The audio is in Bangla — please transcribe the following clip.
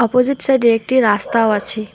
অপজিট সাইডে একটি রাস্তাও আছে।